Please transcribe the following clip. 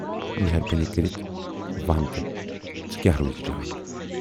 مہربانی کٔرِتھ وَن تہٕ ژٕے کیاہ روزِ جان۔